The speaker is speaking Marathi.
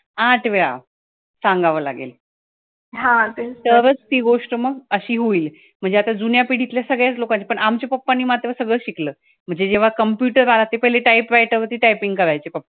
आठ वेळा सांगावं लागेल तरचं ती गोष्ट मग अशी होईल. म्हणजे आता जुन्या पिढीतल्या सगळ्याच लोकांनी, आमच्या papa नि मात्र पण सगळंच शिकलं म्हणजे जेव्हा computer आला ते पहिले typewriter वरती typing करायचे pappa